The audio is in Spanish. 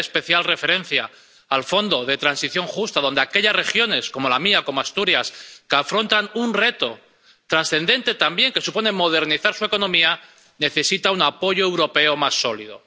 Y haré especial referencia al Fondo de Transición Justa, pues aquellas regiones ⸺como la mía, Asturias⸺ que afrontan un reto trascendente también, a saber, modernizar su economía, necesitan un apoyo europeo más sólido.